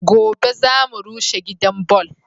Gobe za mu rushe gidan ballo